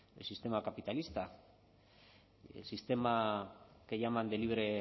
el sistema capitalista el sistema que llaman de libre